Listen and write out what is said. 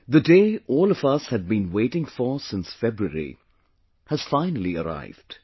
The day all of us had been waiting for since February has finally arrived